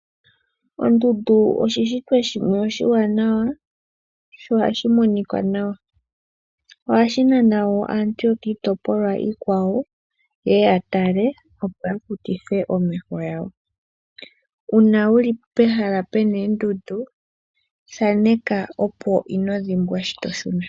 Ondundu oshishitwa shimwe oshiwanawa sho oha shi monika nawa oha shi nana aantu yokiitopolwa iikwawo yeye ya tale opo ya kutithe omeho gawo. Uuna wu li pehala pu na oondundu thaaneka opo kuudhimbwe sho to shuna.